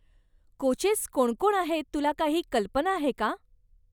Coaches कोणकोण आहेत तुला काही कल्पना आहे का?